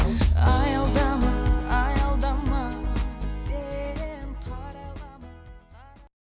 аялдама аялдама сен